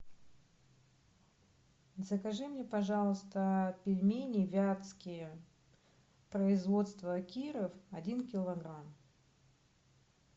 закажи мне пожалуйста пельмени вятские производство киров один килограмм